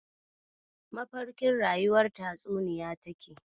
Mafarkin rayuwar tatsuniya take.